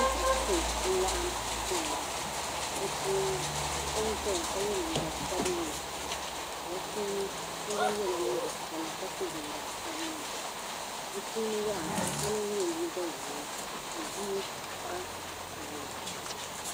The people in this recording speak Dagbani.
Bipuɣinsi n laɣim dɛmda bi puuni so n zaya ka yɛ liiga sabinli ka bi puuni so gba yɛla liiga piɛlli ka so jinjam sabinli bi puuni yaha so lana yɛ liiga ʒee ka bia pahi bi puuni.